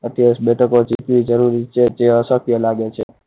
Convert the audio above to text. અઠ્યાવીસ બેઠકો જીતવી જરૂરી છે જે અશક્ય લાગે છે.